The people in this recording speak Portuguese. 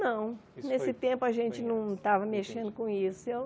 Não, nesse tempo a gente não estava mexendo com isso eu.